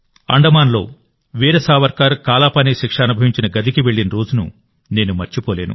అండమాన్లో వీర సావర్కర్ కాలాపానీ శిక్ష అనుభవించిన గదికి వెళ్లిన రోజును నేను మర్చిపోలేను